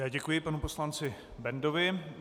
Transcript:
Já děkuji panu poslanci Bendovi.